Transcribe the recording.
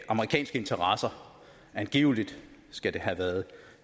amerikanske interesser angiveligt skal det have været